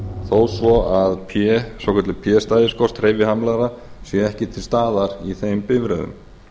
þó svo að svokölluð p stæðiskort hreyfihamlaðra sé ekki til staðar í þeim bifreiðum